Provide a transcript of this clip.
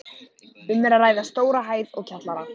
Um er að ræða stóra hæð og kjallara.